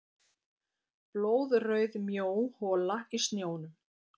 Blóðrauð mjó hola í snjónum.